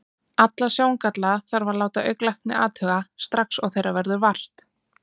Alla sjóngalla þarf að láta augnlækni athuga, strax og þeirra verður vart.